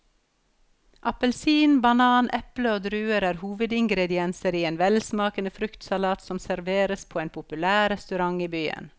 Appelsin, banan, eple og druer er hovedingredienser i en velsmakende fruktsalat som serveres på en populær restaurant i byen.